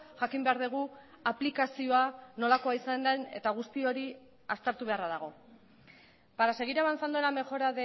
jakin behar dugu aplikazioa nolakoa izan den eta guzti hori aztertu beharra dago para seguir avanzando en la mejora